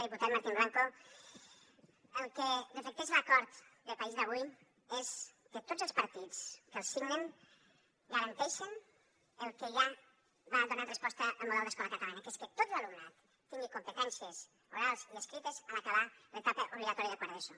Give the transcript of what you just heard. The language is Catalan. diputat martín blanco el que reflecteix l’acord de país d’avui és que tots els partits que el signen garanteixen el que ja va donant resposta el model d’escola catalana que és que tot l’alumnat tingui competències orals i escrites a l’acabar l’etapa obligatòria de quart d’eso